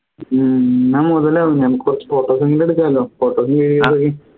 ഹും എന്നാ മുതലാവും ഞമ്മക്ക് കുറച്ച് photos എങ്കിലും എടുക്കാലോ photos videos ഒക്കെ